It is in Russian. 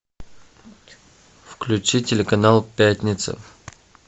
включи телеканал пятница